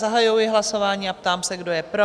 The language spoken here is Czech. Zahajuji hlasování a ptám se, kdo je pro?